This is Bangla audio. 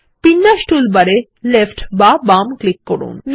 বিন্যাস টুলবার এ লেফ্ট বা বাম ক্লিক করুন